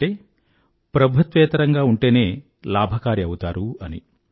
అంటే ప్రభుత్వేతరంగా ఉంటేనే లాభకారి అవుతారు అని